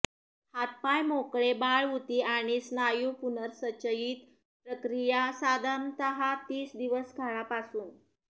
हातपाय मोकळे बाळ उती आणि स्नायू पुनर्संचयित प्रक्रिया साधारणतः तीस दिवस काळापासून